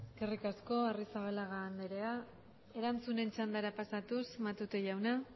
eskerrik asko arrizabalaga andrea erantzunen txandara pasatuz matute jauna